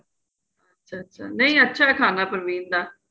ਨਹੀਂ ਅੱਛਾ ਏ ਖਾਣਾ ਪਰਵੀਨ ਦਾ